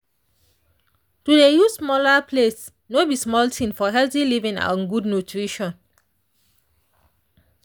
to dey use smaller plates no be small thing for healthy living and good nutrition.